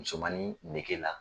Musomanin nege la